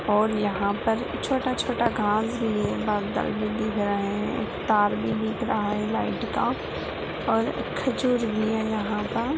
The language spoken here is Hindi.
और यहां पर छोटा-छोटा घास भी बगल में दिख रहे है तार भी दिख रहा है लाइट का और